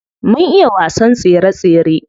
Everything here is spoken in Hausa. Mun iya wasan tsere tsere.